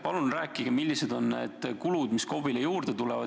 Palun rääkige, millised on need kulud, mis KOV-ile juurde tulevad.